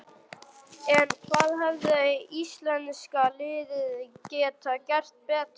En hvað hefði íslenska liðið geta gert betur?